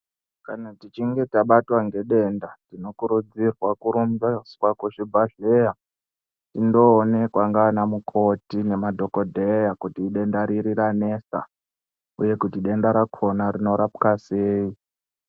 Kana tichinge tabatwa ngedenda tinokurudzirwa kurumbiswa kuzvibhadhleya. Tindoonekwa ngaana mukoti ngemadhogodheya kuti denda riri ranesa, uye kuti denda rakona rinorapwa sei.